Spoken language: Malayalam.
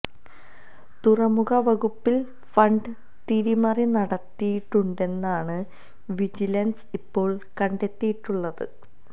തുറമുഖ വകുപ്പില് ഫണ്ട് തിരിമറി നടത്തിയിട്ടുണ്ടെന്നാണ് വിജിലന്സ് ഇപ്പോള് കണ്ടെത്തിയിട്ടുള്ളത്